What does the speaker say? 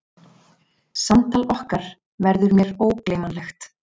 Samtal okkar verður mér ógleymanlegt.